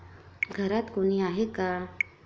घरात कोणी आहे का?